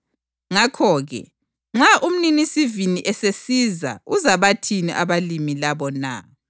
Ngakho-ke nxa umninisivini esesiza uzabathini abalimi labo na?”